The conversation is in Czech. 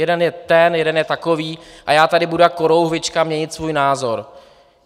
Jeden je ten, jeden je takový a já tady budu jako korouhvička měnit svůj názor?